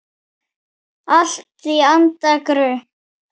Allt í anda Gumps.